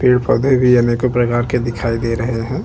पेड़-पौधे भी अनेकों प्रकार के दिखाई दे रहे है।